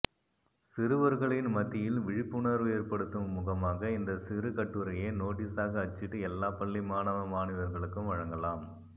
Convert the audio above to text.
சிறுவர்களின் மத்தியில் விழிப்புணர்வு ஏற்படுத்தும் முகமாக இந்த சிறு கட்டுரையை நோட்டீசாக அச்சிட்டு எல்லா பள்ளி மாணவ மாணவியர்களுக்கும் வழங்கலாம்